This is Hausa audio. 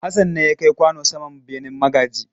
Hassan ne ya kai kwano saman benen magaji.